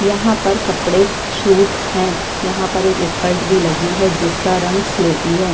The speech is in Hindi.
यहाँ पर कपड़े सूट है यहाँ पर स्कर्ट भी लगी हैं जिसका रंग स्लेटी है।